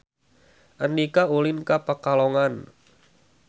Andika ulin ka Pekalongan